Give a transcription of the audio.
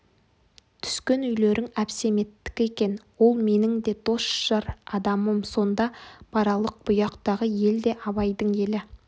түскен үйлерің әбсеметтікі екен ол менің де дос-жар адамым сонда баралық бұяқтағы ел де абайдың елі